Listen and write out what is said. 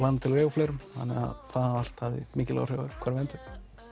fleirum þannig það allt hafði mikil áhrif á hvar við enduðum